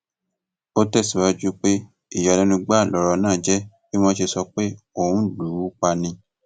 ó tẹsíwájú pé ìyàlẹnu gbáà lọrọ náà jẹ bí wọn ṣe sọ pé òun lù ú pa ni